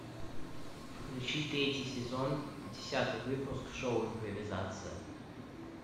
включи третий сезон десятый выпуск шоу импровизация